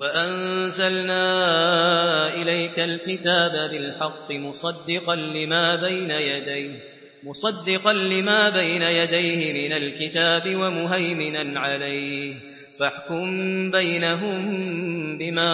وَأَنزَلْنَا إِلَيْكَ الْكِتَابَ بِالْحَقِّ مُصَدِّقًا لِّمَا بَيْنَ يَدَيْهِ مِنَ الْكِتَابِ وَمُهَيْمِنًا عَلَيْهِ ۖ فَاحْكُم بَيْنَهُم بِمَا